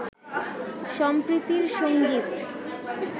সম্প্রীতির সঙ্গীত